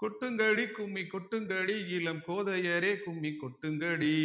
கொட்டுங்கடி கும்மி கொட்டுங்கடி இளம் கோதையரே கும்மி கொட்டுங்கடி